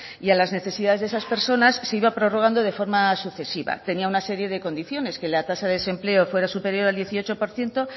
y a las necesidades de esas personas se iba prorrogando de forma sucesiva tenía una serie de condiciones que la tasa de desempleo fuera superior al dieciocho por ciento